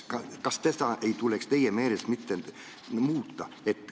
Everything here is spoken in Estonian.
Kas seda ei tuleks teie meelest muuta?